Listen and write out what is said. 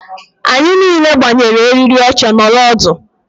anyị niile gbanyere eriri oche nọrọ ọdụ